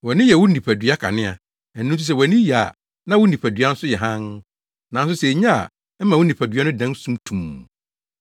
Wʼani yɛ wo nipadua kanea. Ɛno nti sɛ wʼani ye a na wo nipadua nso yɛ hann. Nanso sɛ enye a, ɛma wo nipadua no dan sum tumm.